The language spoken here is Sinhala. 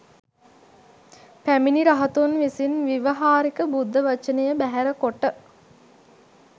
පැමිණි රහතුන් විසින් ව්‍යවහාරික බුද්ධ වචනය බැහැර කොට